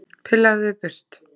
Pillaðu þig burt!